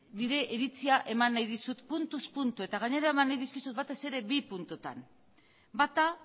nire iritzia eman dizut puntuz puntu eta gainera eman nahi dizkizut batez ere bi puntutan bata